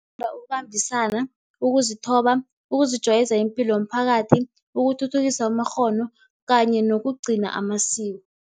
Ukubambisana, ukuzithoba, ukuzijwayeza ipilo yomphakathi, ukuthuthukisa amakghono kanye nokugcina amasiko.